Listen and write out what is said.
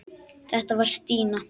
Þetta var Stína.